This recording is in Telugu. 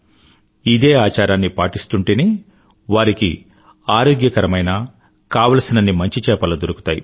ఇదే ఆచారాన్ని పాటిస్తూంటేనే వారికి ఆరోగ్యకరమైన కావాల్సినన్ని మంచి చేపలు దొరుకుతాయి